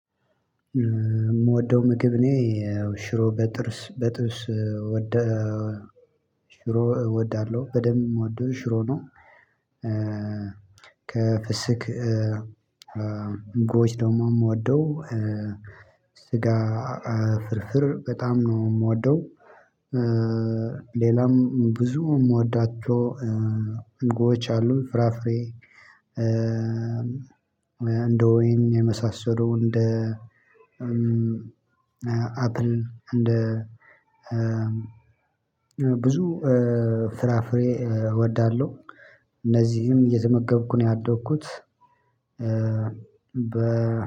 የምወደው ምግብ እኔ ሽሮ በጥብስ በጥብስ ወደ ሽሮ እወዳለሁ በደንብ ምወደው ሽሮ ነው። ከፍስክ ምግቦች ደግሞ ምወደው ስጋ ፍርፍር በጣም ነው ምወደው። ሌላም ብዙ ምወዳቸው ምግቦች አሉ። ፍራፍሬ እንደ ወይን የመሳሰሉ እንደ አፕል እንደ ብዙ ፍራፍሬ እወዳለሁ። እነዚህንም እየተመገብኩ ነው ያደግኩት።